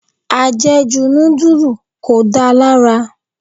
Ajeju nudulu kò da lára.